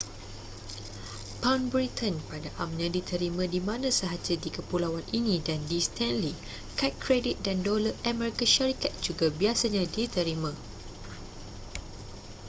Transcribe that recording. pound britain pada amnya diterima di mana sahaja di kepulauan ini dan di stanley kad kredit dan dolar amerika syarikat juga biasanya diterima